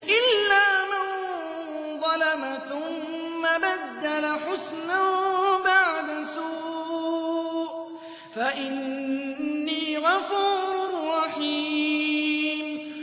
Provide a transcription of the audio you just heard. إِلَّا مَن ظَلَمَ ثُمَّ بَدَّلَ حُسْنًا بَعْدَ سُوءٍ فَإِنِّي غَفُورٌ رَّحِيمٌ